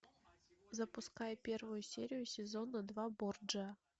запускай первую серию сезона два борджиа